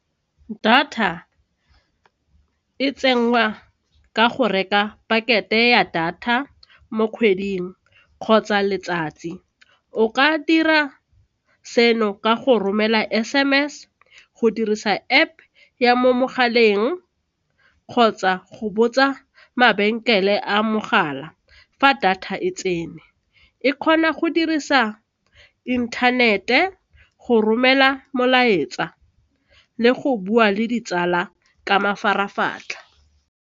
Data e tsenngwa ka go reka pakete ya data mo kgweding kgotsa letsatsi, o ka dira seno ka go romela S_M_S go dirisa App ya mo mogaleng kgotsa go botsa mabenkele a mogala fa data e tsene, e kgona go dirisa inthanete go romela molaetsa le go bua le ditsala ka mafaratlhatlha.